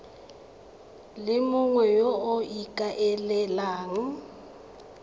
le mongwe yo o ikaelelang